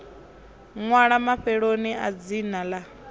ṅwalwa mafheloni a dzina ḽa